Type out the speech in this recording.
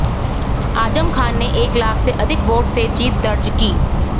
आजम खान ने एक लाख से अधिक वोट से जीत दर्ज की